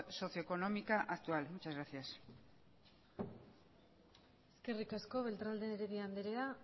socioeconómica actual muchas gracias eskerrik asko beltrán de heredia andrea